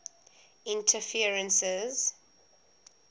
interferences